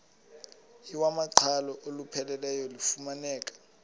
iwamaqhalo olupheleleyo lufumaneka